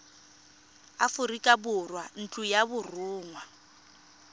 aforika borwa ntlo ya borongwa